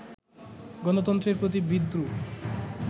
গণতন্ত্রের প্রতি বিদ্রুপ